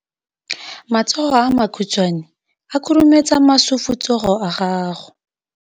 Matsogo a makhutshwane a khurumetsa masufutsogo a gago.